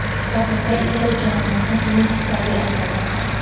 hozirda Italiya jamoasi ham qiyin iqtisodiy ahvolda.